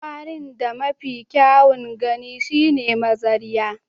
Kwarin da mafi kyawun gani shine mazariya